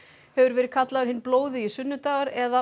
hefur verið kallaður hinn blóðugi sunnudagur eða